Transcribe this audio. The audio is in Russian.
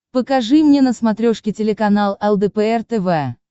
покажи мне на смотрешке телеканал лдпр тв